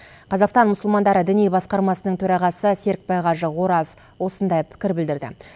қазақстан мұсылмандары діни басқармасының төрағасы серікбай қажы ораз осындай пікір білдірді